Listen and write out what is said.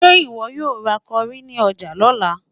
Ǹjẹ́ ìwọ yóò ra kọrí ní ọjà lọ́la?